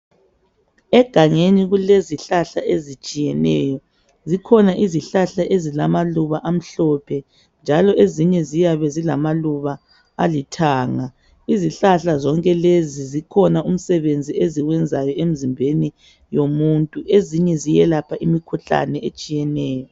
Egangeni kulezihlahla ezitshiyeneyo. Zikhona izihlahla ezilamaluba emhlophe, njalo ezinye ziyabezilamaluba alithanga. Izihlahla zonkelezi zikhona umsebenzi eziwenzayo emzimbeni yomuntu. Ezinye ziyelapha imikhuhlane etshiyeneyo.